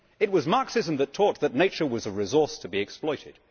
It was Marxism that taught that nature was a resource to be exploited.